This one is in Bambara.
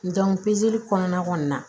kɔnɔna kɔni na